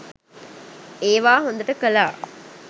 ඒවා හොඳට කළා.